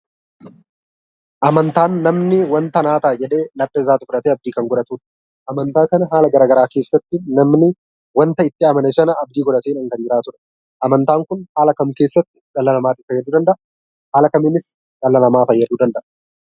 Amantaan waanta namni naaf ta'a jedhee laphee isaatti fudhatee abdii kan godhatudha. Amantaa kana haala garaagaraa keessatti namni waanta itti amane sana abdii godhatee kan jiraatudha. Amantaan Kun haala kam keessatti dhala namaa fayyaduu danda'a? Haala kamiinis dhala namaa fayyaduu danda'a?